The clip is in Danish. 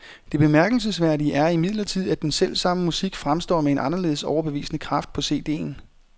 Det bemærkelsesværdige er imidlertid, at den selvsamme musik fremstår med en anderledes overbevisende kraft på cd'en.